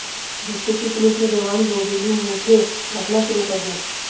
जिससे कि पुलिस में जवान रोबीली मूंछें रखना शुरू कर दें